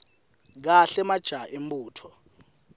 kahle majaha embutfo